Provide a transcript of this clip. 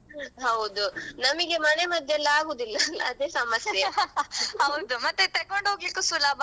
ಹೌದು ನಮಿಗೆ ಮನೆ ಮದ್ದು ಎಲ್ಲಾ ಅಗುದಿಲ್ಲಲ್ಲಾ ಅದೇ ಸಮಸ್ಯೆ.